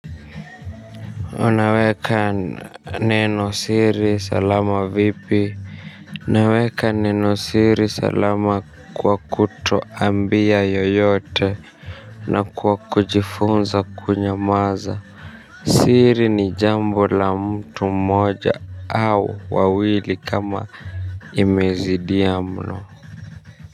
Unaweka neno siri salama vipi naweka neno siri salama kwa kutoambia yoyote. Na kwa kujifunza kunyamaza. Siri ni jambo la mtu mmoja au wawili kama imezidia mno.